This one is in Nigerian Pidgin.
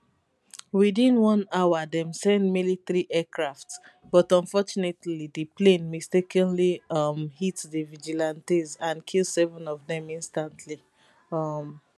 within one hour dem send military aircraft but unfortunately di plane mistakenly um hit di vigilantes and kill seven of dem instantly um